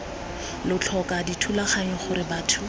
lo tlhoka dithulaganyo gore batho